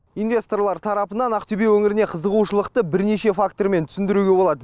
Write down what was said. инвесторлар тарапынан ақтөбе өңіріне қызығушылықты бірнеше фактормен түсіндіруге болады